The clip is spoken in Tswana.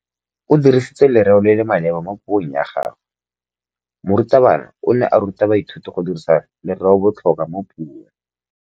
O dirisitse lerêo le le maleba mo puông ya gagwe. Morutabana o ne a ruta baithuti go dirisa lêrêôbotlhôkwa mo puong.